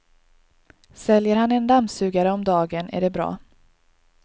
Säljer han en dammsugare om dagen är det bra.